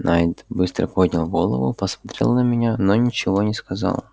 найд быстро поднял голову посмотрел на меня но ничего не сказал